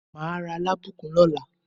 Màá ra alábùkún lọ́la.